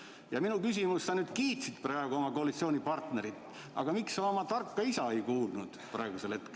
Ja minu küsimus: sa nüüd kiitsid oma koalitsioonipartnerit, aga miks sa praegu oma tarka isa ei kuulanud?